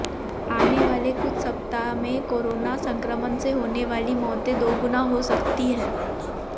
आने वाले कुछ सप्ताह में कोरोना संक्रमण से होने वाली मौतें दोगुनी हो सकती हैं